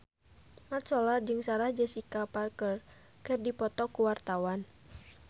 Mat Solar jeung Sarah Jessica Parker keur dipoto ku wartawan